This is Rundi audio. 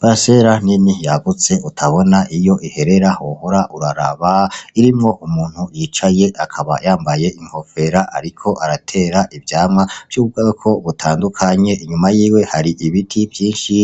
Parasera nini yagutse utabona iyo iherera wohora uraraba, irimwo umuntu yicaye, akaba yambaye inkofera ariko aratera ivyamwa vy'ubwoko butandukanye, inyuma yiwe hari ibiti vyinshi